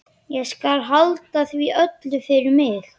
Ég skal halda því öllu fyrir mig.